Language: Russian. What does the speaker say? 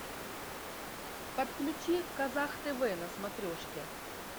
подключи казах тв на смотрешке